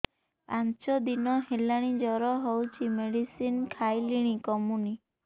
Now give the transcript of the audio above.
ପାଞ୍ଚ ଦିନ ହେଲାଣି ଜର ହଉଚି ମେଡିସିନ ଖାଇଲିଣି କମୁନି